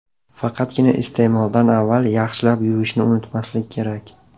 Faqatgina iste’moldan avval yaxshilab yuvishni unutmaslik kerak.